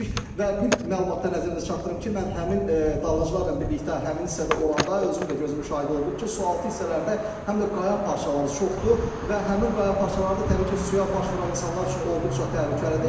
Və bir məlumatı da nəzərinizə çatdırım ki, mən həmin dalğıcılarla birlikdə həmin hissədə olanda özüm də gözüm şahid oldum ki, sualtı hissələrdə həm də qaya parçaları çoxdur və həmin qaya parçaları da təbii ki, suya baş vuran insanlar üçün olduqca təhlükəlidir.